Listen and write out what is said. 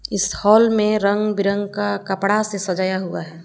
इस हाल में रंग बिरंग का कपड़ा से सजाया हुआ है।